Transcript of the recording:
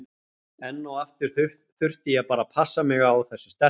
Enn og aftur þurfti ég bara að passa mig á þessu sterka.